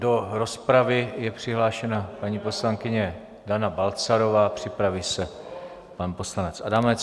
Do rozpravy je přihlášena paní poslankyně Dana Balcarová, připraví se pan poslanec Adamec.